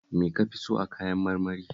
Me ka fi so a kayan marmari?